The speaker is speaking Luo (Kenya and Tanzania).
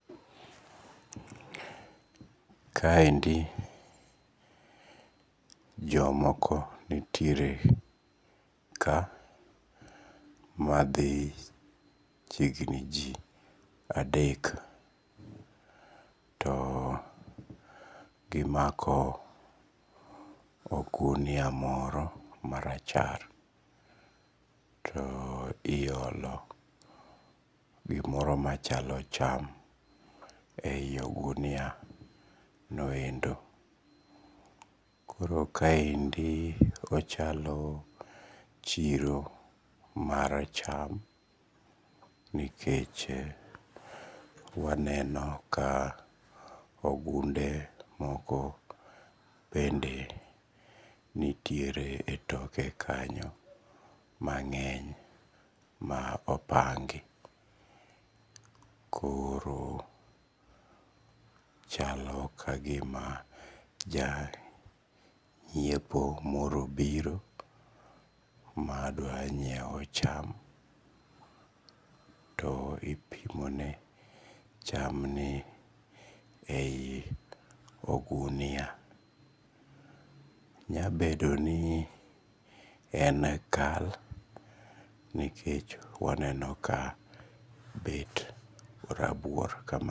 Kaendi jomoko nitiere ka mathi chiegni ji adek to gimako ogunia moro marachar to iolo gimoro machalo cham e yi ogunia noendo koro kaendi ochalo chiro mar cham nikech waneno ka ogunde moko bende niyiere toke kanyo mang''eny ma pongi koro chalo ka gima janyiepo moro obiro madanyiewo cham to ipimone cham nie e yi ogunia , nya bedo ni en kal nikech waneno ka bet orabuor kama